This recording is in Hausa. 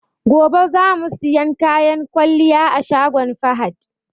Gobe za mu siyan kayan kwalliya a shagon Fahad.